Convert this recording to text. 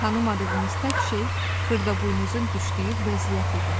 Tanımadığımız tək şey Xırdaboynuzun düşdüyü vəziyyət idi.